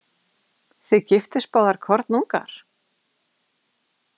Þið giftust báðar kornungar?